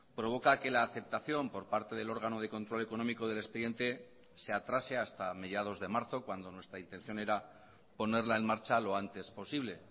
provoca que la aceptación por parte del órgano de control económico del expediente se atrasehasta mediados de marzo cuando nuestra intención era ponerla en marcha lo antes posible